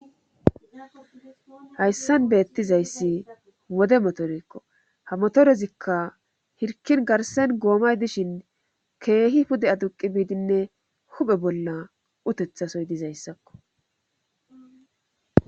Haysan beettizayssi wode motorekko ha motorezikka hirkkin garssen goomay dishin keehi pude aduqqii bidinne huphe bolla utettasoy dizayssakko.